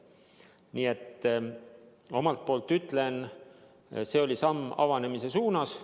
Omalt poolt ma ütlen, et see oli samm avanemise suunas.